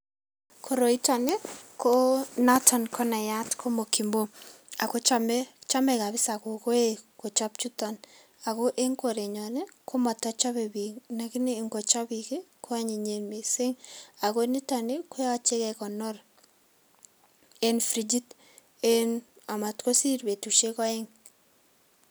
Koroitoni ko noton ko nayat ko mokimo, ako chame, chame kabisa kokoe kochab chuton ako eng korenyon ko matachabe biik lakini angochab biik, ko anyinyen mising aku nitoni koyache kekonor eng frijit amatkosir betusiek oeng.